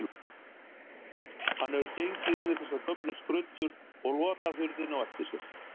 Hann hefur gengið inn í þessar gömlu skruddur og lokað hurðinni á eftir sér.